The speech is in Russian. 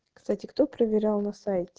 кстати кто проверял на сайт